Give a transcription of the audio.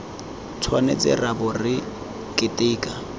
tshwanetse ra bo re keteka